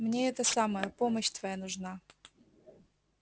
мне это самое помощь твоя нужна